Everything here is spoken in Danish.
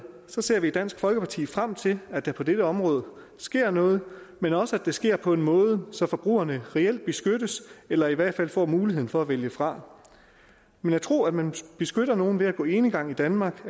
ser vi i dansk folkeparti frem til at der på dette område sker noget men også at det sker på en måde så forbrugerne reelt beskyttes eller i hvert fald får muligheden for at vælge fra men at tro at man beskytter nogle ved at gå enegang i danmark